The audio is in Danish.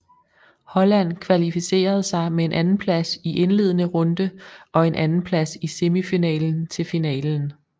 Holland kvalificerede sig med en andenplads i indledende runde og en andenplads i semifinalen til finalen